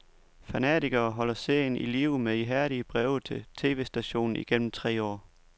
Fanatikere holdt serien i live med ihærdige breve til tvstationen igennem tre år.